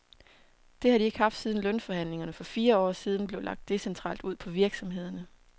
Det har de ikke haft siden lønforhandlingerne for fire år siden blev lagt decentralt ud på virksomhederne.